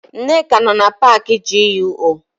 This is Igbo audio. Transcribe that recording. Nneka nọ na paakị GUO.